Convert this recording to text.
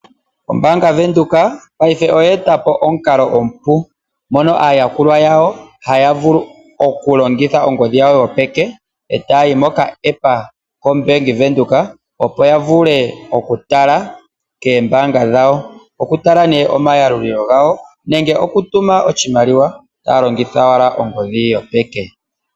Ombanga venduka paife oyetapo omukalo omupu, mono ayakulwa yawo haya vulu okulongitha okulongitha ongodhi yawo yopeke, etayayi moka epa kombenge venduka opo yavule okutala keembanga dhawo, okutala nee omayalulilo gawo nenge okutuma nee oshimaliwa taya longitha wala ogodhi ye yopeke.